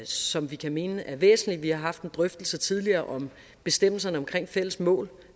som vi kan mene er væsentlige vi har haft en drøftelse tidligere om bestemmelser omkring fælles mål